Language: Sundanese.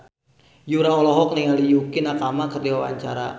Yura olohok ningali Yukie Nakama keur diwawancara